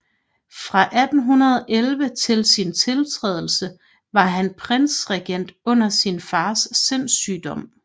Fra 1811 til sin tiltrædelse var han prinsregent under sin fars sindssygdom